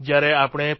જ્યારે આપણે પી